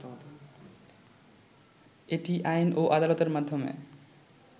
এটি আইন ও আদালতের মাধ্যমে